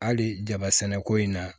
Hali jaba sɛnɛko in na